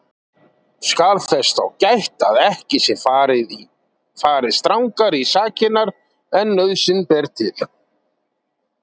Skal þess þá gætt að ekki sé farið strangar í sakirnar en nauðsyn ber til.